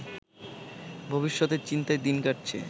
ভবিষ্যতের চিন্তায় দিন কাটছে